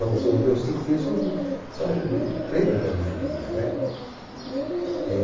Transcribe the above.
São são os meus cinco filhos, são o o são o prêmio da minha vida, né?